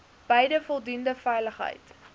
bied voldoende veiligheid